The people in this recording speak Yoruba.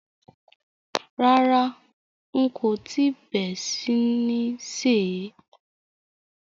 Rárá, n kò tíì bé sí ní sè é.